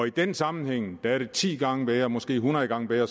i den sammenhæng er det ti gange bedre måske hundrede gange bedre